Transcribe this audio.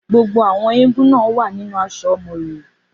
Gbogbo àwọn eégún náà wà nínú aṣọ Moriwo.